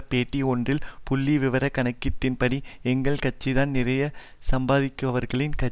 பேட்டி ஒன்றில் புள்ளிவிவரக் கணக்குகளின்படி எங்கள் கட்சிதான் நிறைய சம்பாதிப்பவர்களின் க